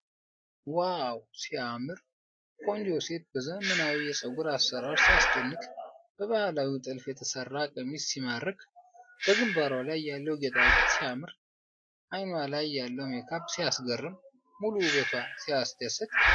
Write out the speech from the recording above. ዋው ሲያምር! ቆንጆ ሴት በዘመናዊ የፀጉር አሠራር ሲያስደንቅ! በባህላዊ ጥልፍ የተሰራ ቀሚስ ሲማርክ! በግንባሯ ላይ ያለው ጌጣጌጥ ሲያምር! አይኗ ላይ ያለው ሜካፕ ሲያስገርም! ሙሉ ውበቷ ሲያስደስት!